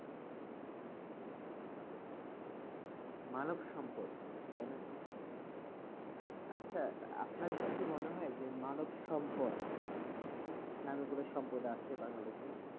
মানবসম্পদ, তাই না? আচ্ছা আপনার কাছে কি মনে হয় যে মানবসম্পদ, নামে কোন সম্পদ আসে বাংলাদেশে?